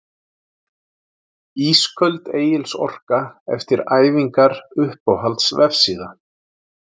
Ísköld Egils Orka eftir æfingar Uppáhalds vefsíða?